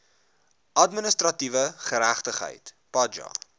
administratiewe geregtigheid paja